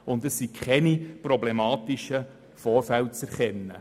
Dabei sind keine problematischen Vorfälle zu erkennen.